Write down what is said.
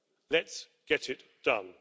Let's get it done.